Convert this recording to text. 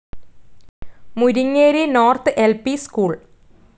Muringeri north L P school